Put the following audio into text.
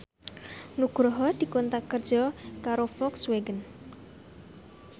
Nugroho dikontrak kerja karo Volkswagen